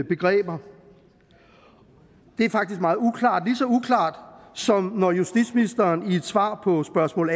begreber det er faktisk meget uklart ligeså uklart som når justitsministeren i et svar på spørgsmål